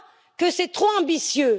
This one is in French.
Que c'est trop ambitieux.